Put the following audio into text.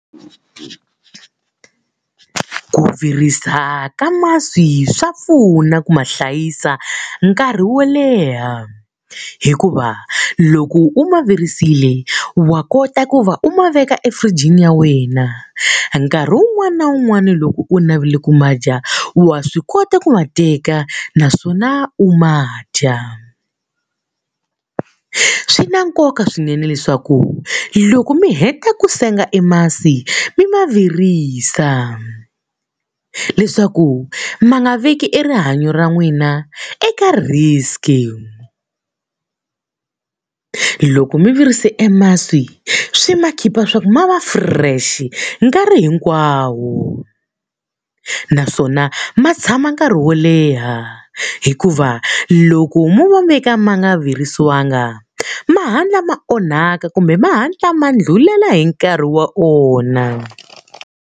Ku virisa ka masi swa pfuna ku ma hlayisa nkarhi wo leha. Hikuva loko u ma virisile wa kota ku va u ma veka efurijini ya wena. Nkarhi wun'wani na wun'wani loko u navele ku ma dya, wa swi kota ku ma teka naswona u ma dya. Swi na nkoka swinene leswaku loko mi heta ku senga e masi mi ma virisa leswaku ma nga veki e rihanyo ra n'wina eka risk-i. Loko mi virise ka masi swi ma khipha leswaku ma va fresh-i nkarhi hinkwawo. Naswona ma tshama nkarhi wo leha, hikuva loko mo ma veka ma nga virisiwanga ma hatla ma onhaka kumbe ma hatla ma ndlhulela hi nkarhi wa wona.